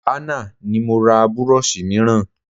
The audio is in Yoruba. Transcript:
Àná ni mo ra burọ̀ṣì mìíràn